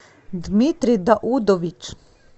дмитрий даудович